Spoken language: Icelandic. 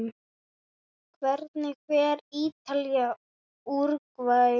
Hvernig fer Ítalía- Úrúgvæ?